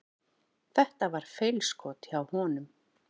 Þetta var feilskot hjá honum.